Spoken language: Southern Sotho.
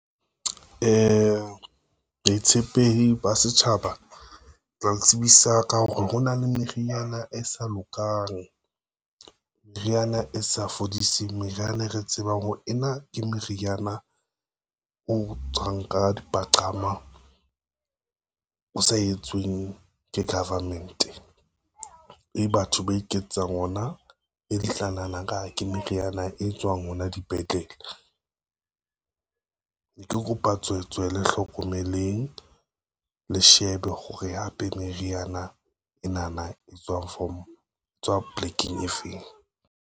Boitshepehi ba setjhaba, tla le tsebisa ka hore ho na le meriana e sa lokang, meriana e sa fodiseng, meriana e re tsebang ho ena ke meriana o tswang ka dipaqama, o sa etsweng ke government, e batho ba iketsetsang ona e le tla nahana nkare ke meriana e tswang hona dipetlele. Ne ke kopa tswe tswe le hlokomeleng le shebe hore hape meriana ena na e tswa form polekeng e feng.